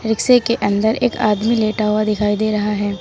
रिक्शे के अंदर एक आदमी लेटा हुआ दिखाई दे रहा है।